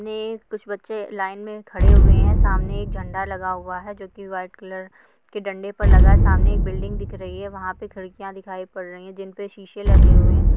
कुछ बच्चे लाइन में खड़े हुयी हैं सामने एक झंडे लगा हुआ हैं जो की वाइट कलर के डंडे पर लगा सामने एक बिल्डिंग दिख रही हैं वहाँ पे खिड़कियाँ दिखाई पड़ रही हैं जिन पे शीशे लगे हुए हैं।